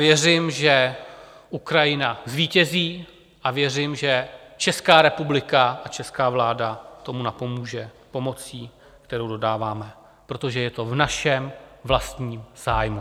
Věřím, že Ukrajina zvítězí, a věřím, že Česká republika a česká vláda tomu napomůže pomocí, kterou dodáváme, protože je to v našem vlastním zájmu.